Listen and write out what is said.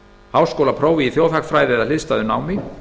háskólaprófi í þjóðhagfræði eða hliðstæðu námi